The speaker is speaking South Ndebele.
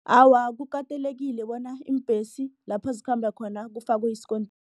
Awa, kukatelekile bona iimbhesi lapha zikhamba khona kufakwe